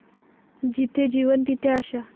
जिथे जीवन, तिथे आशा.